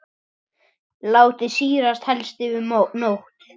Látið sýrast helst yfir nótt.